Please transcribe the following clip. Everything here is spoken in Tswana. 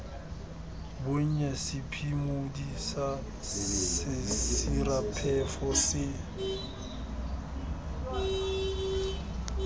bonnye sephimodi sa sesiraphefo se